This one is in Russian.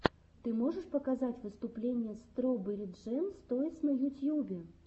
ты можешь показать выступление строберри джэм тойс на ютьюбе